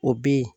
O bɛ yen